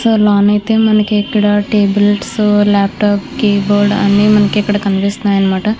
లోన అయితే మనకి ఇక్కడ టేబుల్స్ లాప్టాప్ కీ బోర్డు అవన్నీ మనకి కనిపిస్తున్నాయన్నమాట.